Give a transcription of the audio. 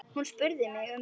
Hún spurði um þig.